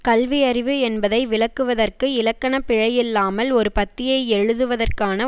கல்வியறிவு என்பதை விளக்குவதற்கு இலக்கண பிழையில்லாமல் ஒரு பத்தியை எழுதுவதற்கான